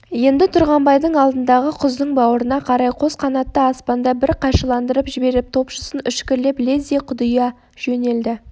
енді тұрғанбайдың алдындағы құздың бауырына қарай қос қанатты аспанда бір қайшыландырып жіберіп топшысын үшкірлеп лезде құдия жөнелді